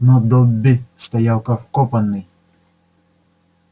но добби стоял как вкопанный